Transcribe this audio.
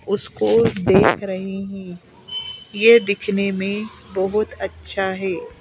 उसको देख रही है दिखने में बहुत अच्छा है।